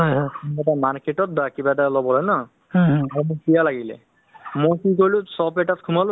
মানে ধৰক অহ্ মানুহৰ লগত নিজৰ সম্বন্ধতো ভালকৈ মানে ধৰক অ relation তো ভাল ৰাখিব লাগে